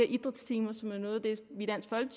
idrætstimer som er noget af det vi